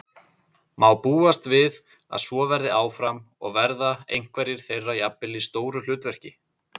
Má búast við að svo verði áfram og verða einhverjir þeirra jafnvel í stóru hlutverki?